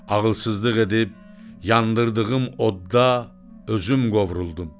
Ağılsızlıq edib yandırdığım odda özüm qovruldum.